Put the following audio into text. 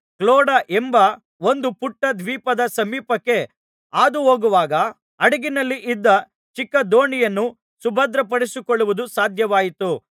Claude ಎಂಬ ಒಂದು ಪುಟ್ಟ ದ್ವೀಪದ ಸಮೀಪಕ್ಕೆ ಹಾದುಹೋಗುವಾಗ ಹಡಗಿನಲ್ಲಿ ಇದ್ದ ಚಿಕ್ಕ ದೋಣಿಯನ್ನು ಸುಭದ್ರಪಡಿಸಿಕೊಳ್ಳುವುದು ಸಾಧ್ಯವಾಯಿತು